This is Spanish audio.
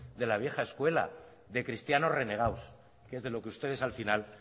de la vieja escuela de cristianos renegados que es de lo que ustedes al final